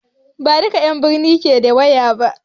Ba duƙa 'yan n birni ke da wayo ba